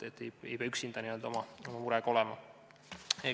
Ei pea oma murega üksi olema.